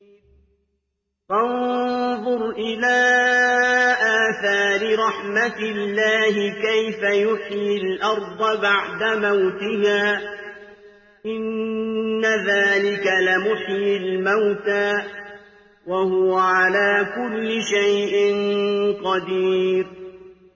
فَانظُرْ إِلَىٰ آثَارِ رَحْمَتِ اللَّهِ كَيْفَ يُحْيِي الْأَرْضَ بَعْدَ مَوْتِهَا ۚ إِنَّ ذَٰلِكَ لَمُحْيِي الْمَوْتَىٰ ۖ وَهُوَ عَلَىٰ كُلِّ شَيْءٍ قَدِيرٌ